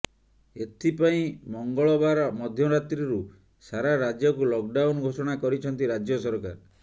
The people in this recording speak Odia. ଏଥପାଇଁ ମଙ୍ଗଳବାର ମଧ୍ୟରାତ୍ରୀରୁ ସାରା ରାଜ୍ୟକୁ ଲକ୍ଡାଉନ ଘୋଷଣା କରିଛନ୍ତି ରାଜ୍ୟ ସରକାର